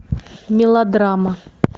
мелодрама